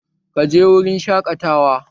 Ka je wurin shaƙatawa?